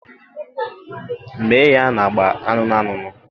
Mee ya na agba anụnụ anụnụ.